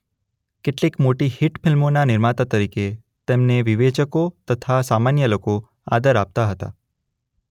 કેટલીક મોટી હિટ ફિલ્મોના નિર્માતા તરીકે તેમને વિવેચકો તથા સામાન્ય લોકો આદર આપતા હતા.